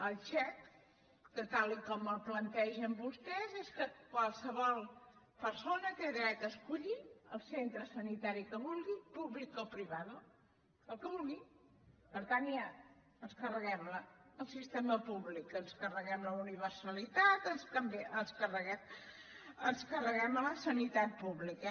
el xec que tal com el plantegen vostès és que qualsevol persona té dret a escollir el centre sanitari que vulgui públic o privadoja ens carreguem el sistema públic ens carreguem la universalitat ens carreguem la sanitat pública